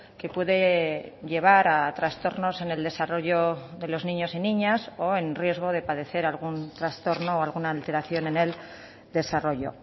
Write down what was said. que puede llevar a trastornos en el desarrollo de los niños y niñas o en riesgo de padecer algún trastorno o alguna alteración en el desarrollo